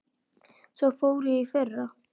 Svo fór ég í fyrra.